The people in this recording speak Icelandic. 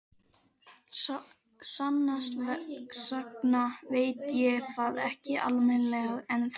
Sannast sagna veit ég það ekki almennilega ennþá.